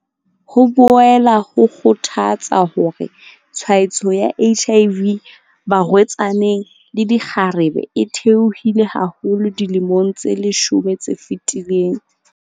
Ho boela ho kgothatsa hore tshwaetso ya HIV barwe-tsaneng le dikgarebe e the-ohile haholo dilemong tse leshome tse fetileng.